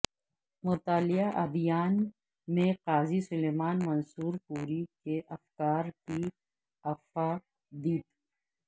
مطالعہ ادیان میں قاضی سلیمان منصور پوری کےافکار کی افادیت